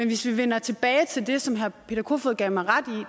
hvis vi vender tilbage til det som herre peter kofod gav mig ret